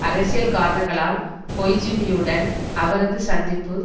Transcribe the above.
அரசியல் காரணங்களால் கொய்ஜூமியுடன் அவரது சந்திப்பு